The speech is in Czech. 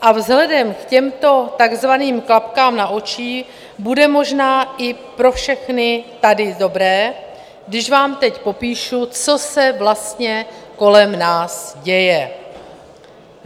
A vzhledem k těmto takzvaným klapkám na očích bude možná i pro všechny tady dobré, když vám teď popíšu, co se vlastně kolem nás děje.